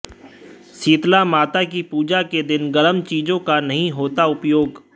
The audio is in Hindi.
शीतला माता की पूजा के दिन गर्म चीजों का नहीं होता उपयोग